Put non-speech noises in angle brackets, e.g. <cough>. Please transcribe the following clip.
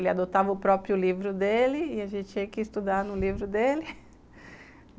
Ele adotava o próprio livro dele e a gente tinha que estudar <laughs> no livro dele.